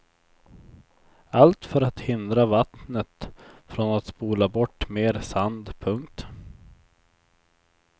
Allt för att hindra vattnet från att spola bort mer sand. punkt